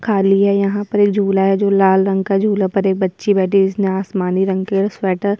खाली है यहाँ पर एक झूला है जो लाल रंग का झूला पर ये बच्ची बैठी जिसने आसमानी रंग के स्वेटर --